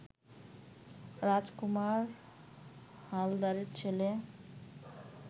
রাজকুমার হালদারের ছেলে